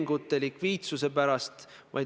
Lõpetan selle küsimuse käsitlemise.